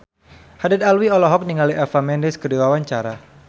Haddad Alwi olohok ningali Eva Mendes keur diwawancara